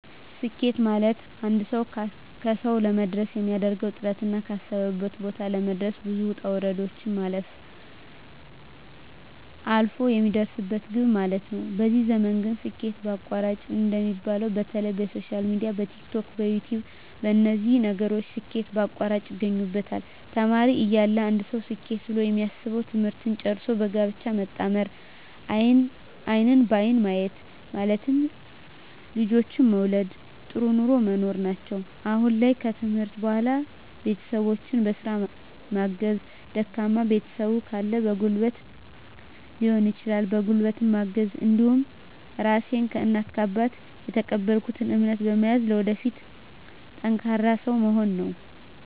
ስኬት ማለትአንድ ሰዉ ካሰዉ ለመድረስ የሚያደርገዉ ጥረትና ካሰበበት ቦታ ለመድረስ ብዙ ዉጣ ዉረዶችን ማለፍ አልፍ የሚደርስበት ግብ ማለት ነዉ በዚህ ዘመን ግን ስኬት በአቋራጭ እንደሚባለዉ በተለይ በሶሻል ሚድያ በቲክቶክ በዩትዩብ በነዚህ ነገሮች ስኬት በአቋራጭ ያገኙበታል ተማሪ እያለ አንድ ሰዉ ስኬት ብሎ የሚያስበዉ ትምህርትን ጨርሶ በጋብቻ መጣመርና አይንን በአይን ማየት ማለትም ልጆችን መዉለድ ጥሩ ኑሮ መኖር ናቸዉ አሁን ላይ ከትምህርት በኋላ ቤተሰቦቸን በስራ ማገዝ ደካማ ቤተሰብ ካለ በጉልበትም ሊሆን ይችላል በጉልበት ማገዝ እንዲሁም ራሴን ከእናት ከአባት የተቀበልኩትን እምነት በመያዝ ለወደፊት ጠንካራ ሰዉ መሆን ነዉ